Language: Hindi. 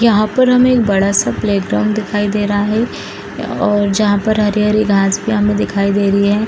यहाँ पर हमें एक बड़ा सा प्लेग्राउंड दिखाई दे रहा है और जहाँ पर हरे-हरे घास भी हमें दिखाई दे रही है।